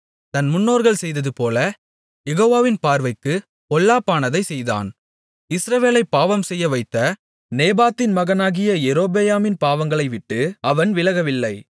தன் முன்னோர்கள் செய்ததுபோல யெகோவாவின் பார்வைக்குப் பொல்லாப்பானதைச் செய்தான் இஸ்ரவேலைப் பாவம்செய்யவைத்த நேபாத்தின் மகனாகிய யெரொபெயாமின் பாவங்களைவிட்டு அவன் விலகவில்லை